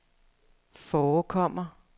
forekommer